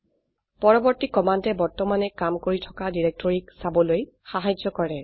পৰবৰ্তী কমান্ডে বৰ্তমানে কাম কৰি থকা ডিৰেক্টৰকীক চাবলৈ সাহায্য কৰে